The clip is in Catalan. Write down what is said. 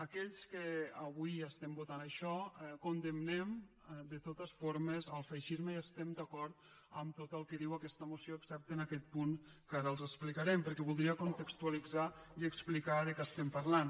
aquells que avui estem votant això condemnem de totes formes el feixisme i estem d’acord amb tot el que diu aquesta moció excepte en aquest punt que ara els explicarem perquè voldria contextualitzar ho i explicar de què estem parlant